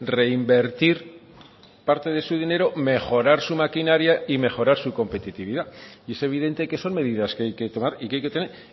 reinvertir parte de su dinero mejorar su maquinaria y mejorar su competitividad y es evidente que son medidas que hay que tomar y que hay que tener